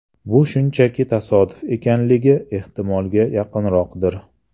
Bu shunchaki tasodif ekanligi ehtimolga yaqinroqdir.